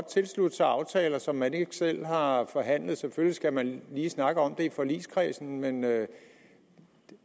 tilslutte sig aftaler som man ikke selv har forhandlet selvfølgelig skal man lige snakke om det i forligskredsen men